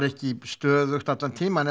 ekki stöðugt allan tímann